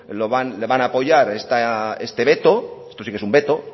le van a apoyar este veto esto sí que es un veto